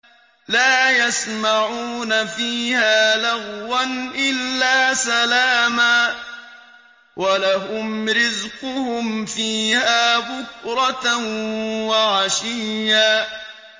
لَّا يَسْمَعُونَ فِيهَا لَغْوًا إِلَّا سَلَامًا ۖ وَلَهُمْ رِزْقُهُمْ فِيهَا بُكْرَةً وَعَشِيًّا